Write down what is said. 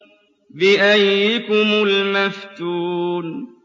بِأَييِّكُمُ الْمَفْتُونُ